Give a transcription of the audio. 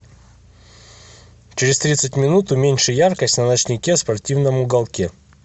через тридцать минут уменьши яркость на ночнике в спортивном уголке